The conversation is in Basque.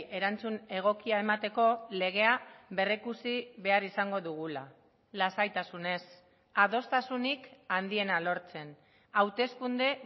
erantzun egokia emateko legea berrikusi behar izango dugula lasaitasunez adostasunik handiena lortzen hauteskunde